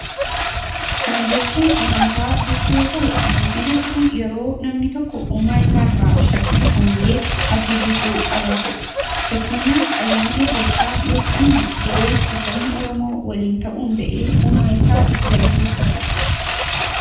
Kana jechuun amantaa jechuu yoo ta'u, amantii jechuun yeroo namni tokko uumaa isaa irraa shakkii tokko malee abdii guutuu qabaatudha. Fakkeenyaaf ayyaana Irreechaa yoo fudhanne, yeroo itti sabni Oromoo waliin ta'uun ba'ee uumaa isaa itti galateeffatudha.